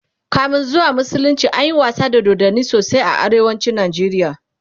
kamin zuwan musulunci anyi wasa da dodanni sosai a arewacin Nigeria